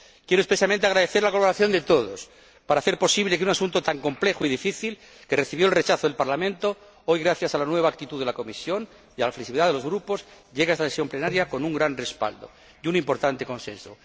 Quiero expresamente agradecer la colaboración de todos para hacer posible que un asunto tan complejo y difícil, que recibió el rechazo del Parlamento, hoy, gracias a la nueva actitud de la Comisión y a la flexibilidad de los grupos, llegue a esta sesión plenaria con un gran respaldo y un importante consenso.